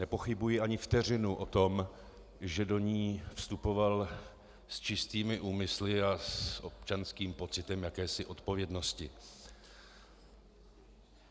Nepochybuji ani vteřinu o tom, že do ní vstupoval s čistými úmysly a s občanským pocitem jakési odpovědnosti.